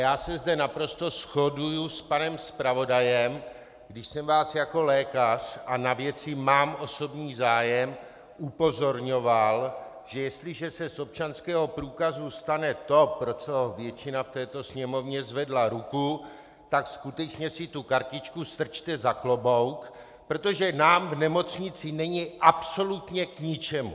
Já se zde naprosto shoduji s panem zpravodajem, když jsem vás jako lékař - a na věci mám osobní zájem - upozorňoval, že jestliže se z občanského průkazu stane to, pro co většina v této Sněmovně zvedla ruku, tak skutečně si tu kartičku strčte za klobouk, protože nám v nemocnici není absolutně k ničemu.